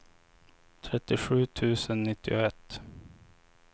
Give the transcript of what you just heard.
trettiosju tusen nittioett